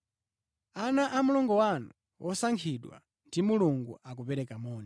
Ana a mlongo wanu wosankhidwa ndi Mulungu akupereka moni.